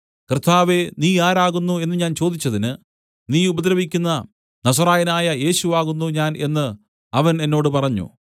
കർത്താവേ നീ ആരാകുന്നു എന്ന് ഞാൻ ചോദിച്ചതിന് നീ ഉപദ്രവിക്കുന്ന നസറായനായ യേശു ആകുന്നു ഞാൻ എന്ന് അവൻ എന്നോട് പറഞ്ഞു